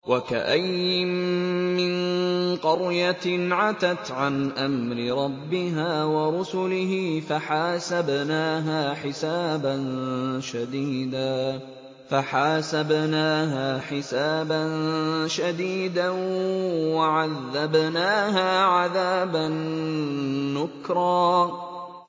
وَكَأَيِّن مِّن قَرْيَةٍ عَتَتْ عَنْ أَمْرِ رَبِّهَا وَرُسُلِهِ فَحَاسَبْنَاهَا حِسَابًا شَدِيدًا وَعَذَّبْنَاهَا عَذَابًا نُّكْرًا